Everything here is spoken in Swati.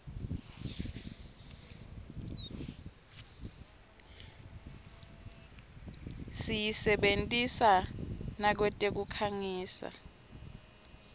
siyisebentisa nakwetekukhangisa